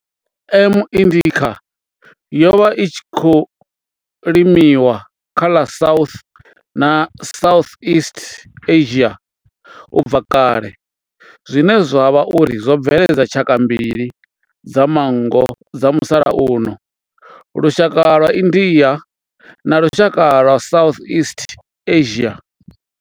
M. indica yo vha i tshi khou limiwa kha ḽa South na Southeast Asia ubva kale zwine zwa vha uri zwo bveledza tshaka mbili dza manngo dza musalauno lushaka lwa India na lushaka lwa Southeast Asia.